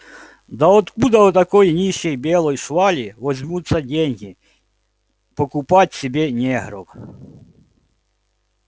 да откуда у такой нищей белой швали возьмутся деньги покупать себе негров